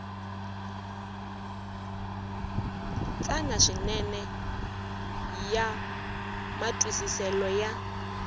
tsana swinene ya matwisiselo ya